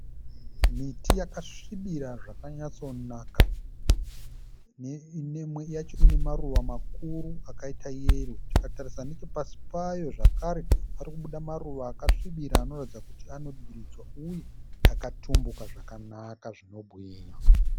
Miti yakasvibira zvakanyatso naka imwe yacho ina maruva makuru akaita yero. Tikatarisa nechepasi payo pari kubuda maruva akasvibira anoratidza kuti anodiridzwa uye akatumbuka zvakanaka zvinobwinya.